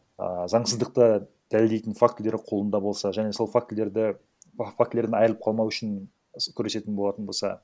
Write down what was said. ыыы заңсыздықты дәлелдейтін фактілері қолында болса және сол фактілерді фактілерден айрылып қалмау үшін күресетін болатын болса